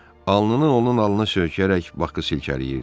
Alnını onun alnına söykəyərək Bakı silkələyirdi.